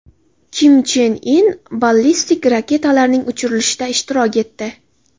Kim Chen In ballistik raketalarning uchirilishida ishtirok etdi .